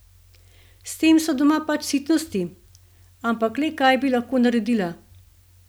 S tem so doma pač sitnosti, ampak le kaj bi lahko naredila?